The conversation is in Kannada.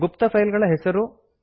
ಗುಪ್ತ ಫೈಲ್ ಗಳ ಹೆಸರು